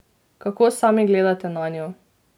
Kako sami gledate nanjo?